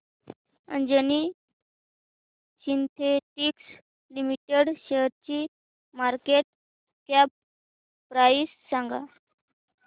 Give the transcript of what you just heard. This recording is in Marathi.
अंजनी सिन्थेटिक्स लिमिटेड शेअरची मार्केट कॅप प्राइस सांगा